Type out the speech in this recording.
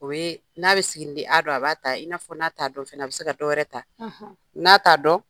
O ye n'a bɛ siginiden a dɔn a b'a ta i n'a fɔ n'a dɔn fana a bɛ se ka dɔwɛrɛ ta n'a t'a dɔn